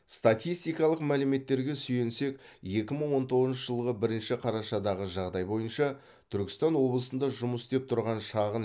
статистикалық мәліметтерге сүйенсек екі мың он тоғызыншы жылғы бірінші қарашадағы жағдай бойынша түркістан облысында жұмыс істеп тұрған шағын